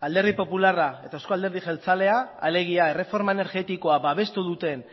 alderdi popularra eta euzko alderdi jeltzalea alegia erreforma energetikoa babestu duten